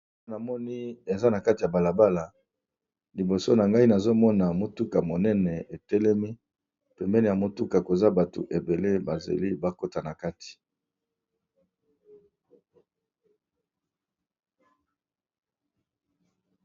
Awa namoni eza na kati ya bala bala liboso na ngai nazomona motuka monene etelemi, pembeni ya motuka koza bato ebele bazeli bakota na kati.